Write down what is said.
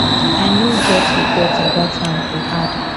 i no get regrets about am im add